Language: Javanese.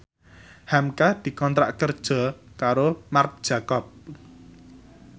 hamka dikontrak kerja karo Marc Jacob